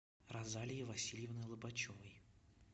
розалии васильевны лобачевой